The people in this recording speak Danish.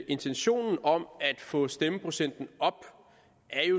intentionen om at få stemmeprocenten op